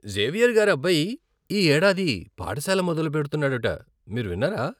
Xavier గారి అబ్బాయి ఈ ఏడాది పాఠశాల మొదలు పెడుతున్నాడట, మీరు విన్నారా?